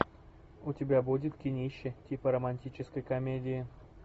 у тебя будет кинище типа романтической комедии